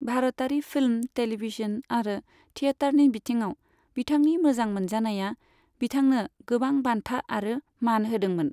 भारतारि film, television आरो थियेटारनि बिथिङाव बिथांनि मोजां मोनजानाया बिथांनो गोबां बान्था आरो मान होदोंमोन।